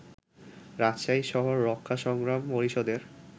রাজশাহী শহর রক্ষা সংগ্রাম পরিষদের